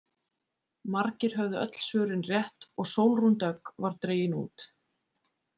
Margir höfðu öll svörin rétt og Sólrún Dögg var dregin út.